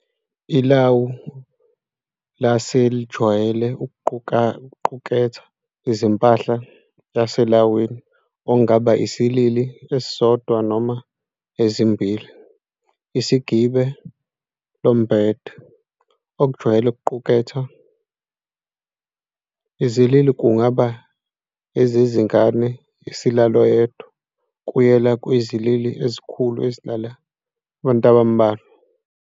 Ilawu lase lijwayele ukuquketha impahla yaselawini, okungaba isilili esidodwa noma ezimbhili, isigibe, lombhede, okujwayele ukuquketha. izilili kungaba ezezingane, esilala oyedwa, kuyela kwizilili ezikhulu ezilala abantu abambalwa.